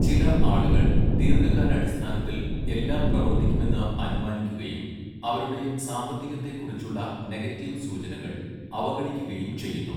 ചില ആളുകൾ ദീർഘകാലാടിസ്ഥാനത്തിൽ എല്ലാം പ്രവർത്തിക്കുമെന്ന് അനുമാനിക്കുകയും അവരുടെ സാമ്പത്തികത്തെക്കുറിച്ചുള്ള നെഗറ്റീവ് സൂചനകൾ അവഗണിക്കുകയും ചെയ്യുന്നു.